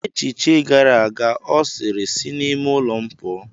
Echiche gara aga ọ sịrị, sị n'ime ụlọ m pụọ.